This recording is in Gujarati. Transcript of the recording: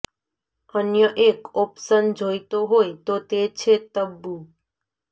અન્ય એક ઓપ્શન જોઇતો હોય તો તે છે તબ્બુ